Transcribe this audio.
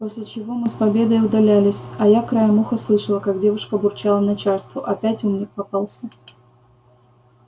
после чего мы с победой удалялись а я краем уха слышала как девушка бурчала начальству опять умник попался